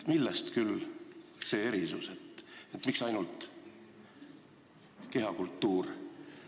Millest küll see erisus, miks ainult kehakultuur?